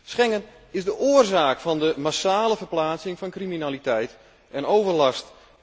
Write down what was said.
Schengen is de oorzaak van de massale verplaatsing van criminaliteit en overlast.